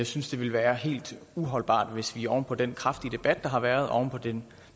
synes det ville være helt uholdbart hvis vi oven på den kraftige debat der har været oven på den